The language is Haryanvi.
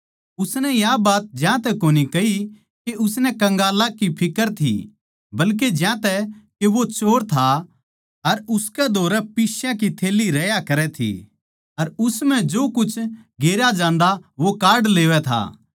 उसनै या बात ज्यातै कोनी कही के उसनै कंगालां की फिक्र थी बल्के ज्यांतै के वो चोर था अर उसकै धोरै पिस्या की थैल्ली रह्या करै थी अर उस म्ह जो कुछ गेरया जांदा वो काढ लेवै था